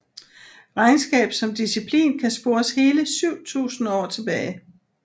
Regnskab som disciplin kan spores hele 7000 år tilbage